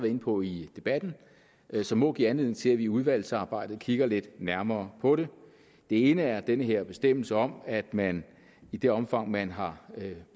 inde på i debatten som må give anledning til at vi i udvalgsarbejdet kigger lidt nærmere på det det ene er den her bestemmelse om at man i det omfang man har